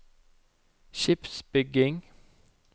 skipsbygging